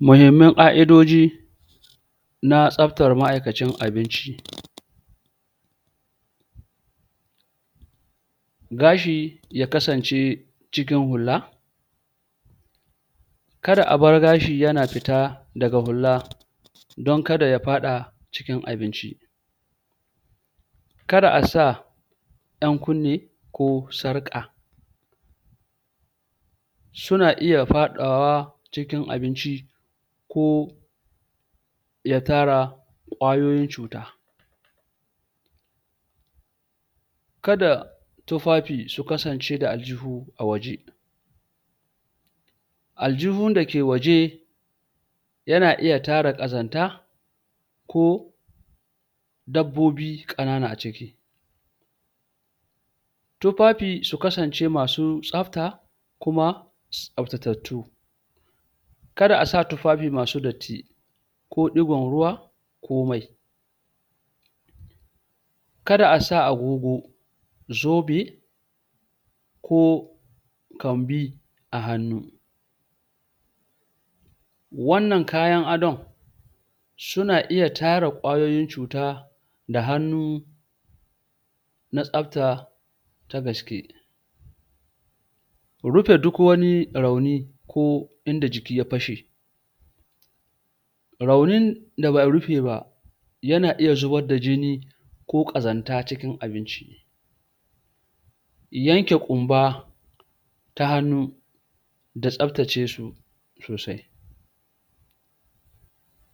muhimman ka'idoji na tsabtar ma'aikacin abinci gashi ya kasance cikin hula kada a bar gashi yana fita daga hulla don kada ya faɗa cikin abinci kada a sa yan kunne ko sarƙa suna iya faɗawa cikin abinci ko ya tara kwayoyin cuta kada tufafi su kasance da aljihu a waje aljihun dake waje yana iya tara kazanta ko dabbobi ƙanana a ciki tufafi su kasance masu tsabta kuma su tsabtatattu kada asa tufafi masu datti ko digon ruwa ko mai kada asa agogo zobe ko kambi a hannu wannan kayan adon suna iya tara kwayoyin cuta da hannu na tsabta ta gaske rufe duk wani rauni ko inda jiki ya fashe raunin da ba'a rufe ba yana iya zubbar da jini ko kazanta cikin abinci yanke ƙumba ta hannu da tsabtace su sosai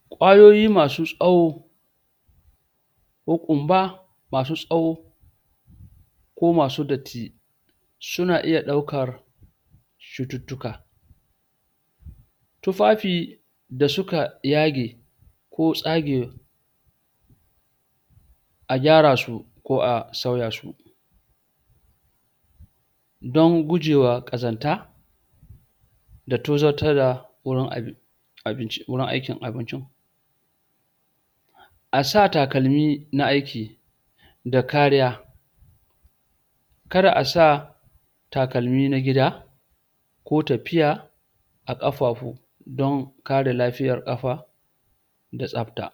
kwayoyi masu tsawo ko ƙumba masu tsawo ko masu datti una iya ɗaukar cututtuka tufafi da suka yage ko tsage a gyara su ko a sauya su don gujewa ƙazanta da tozardata wurin abinci binci wurin aikin abinci a sa takalmi na aiki da kariya kada asa takalmi na gida ko tafiya a ƙafafu don ƙare lafiyar ƙafa da tsabta